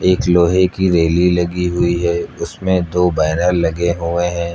एक लोहे की रेली लगी हुई है उसमें दो बैनर लगे हुए है।